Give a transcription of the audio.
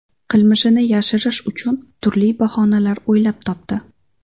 Qilmishini yashirish uchun turli bahonalar o‘ylab topdi.